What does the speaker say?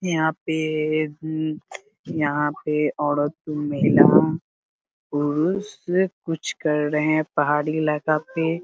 यहाँ पे ये यहाँ पे औरत महिला पुरुष कुछ कर रहे हैं पहाड़ी इलाका पे --